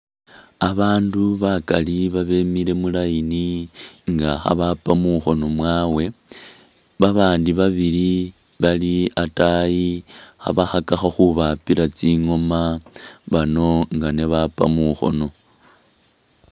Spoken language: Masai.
Abandu bakaali abemile mu'line nga khabapa mukhono mwawe, babandi babili bali ataayi khabakhakakho khubapila tsingoma bano nga nibapa mukhono